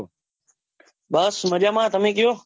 બસ મજામાં તમે કયો